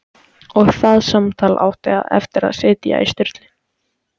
Og það samtal átti eftir að sitja í Sturlu